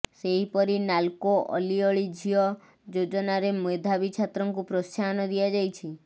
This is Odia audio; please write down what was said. ସେହିପରି ନାଲ୍କୋ ଅଲିଅଳି ଝିଅ ଯୋଜନାରେ ମେଧାବୀ ଛାତ୍ରୀଙ୍କୁ ପ୍ରୋତ୍ସାହନ ଦିଆଯାଇଛି